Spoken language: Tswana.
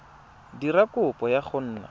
dira kopo ya go nna